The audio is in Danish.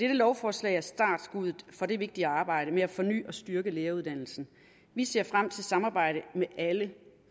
lovforslag er startskuddet for det vigtige arbejde med at forny og styrke læreruddannelsen vi ser frem til samarbejdet med alle